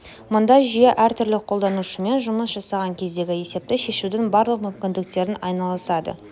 мұнда жүйе әртүрлі қолданушымен жұмыс жасаған кездегі есепті шешудің барлық мүмкіндіктерімен айналысады